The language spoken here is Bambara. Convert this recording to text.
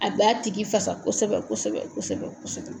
A b'a tigi fasa kosɛbɛ kosɛbɛ kosɛbɛ kosɛbɛ